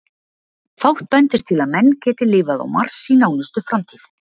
Fátt bendir til að menn geti lifað á Mars í nánustu framtíð.